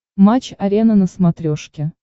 матч арена на смотрешке